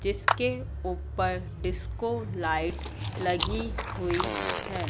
जिसके ऊपर disco light लगी हुई है।